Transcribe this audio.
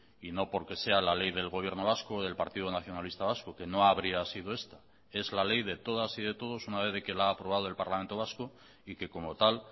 y no porque sea la ley del gobierno vasco del partido nacionalista vasco que no habría sido esta es la ley de todas y de todos una vez de que la ha aprobado el parlamento vasco y que como tal